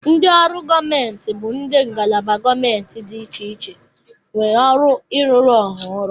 Ndị ọrụ gọọmenti bụ ndị ngalaba gọọmentị dị iche iche nwee ọrụ ịrụrụ Ọha ọrụ.